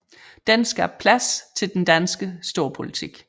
Det skabte plads til den danske storpolitik